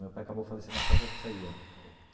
Meu pai acabou falecendo na própria pizzaria.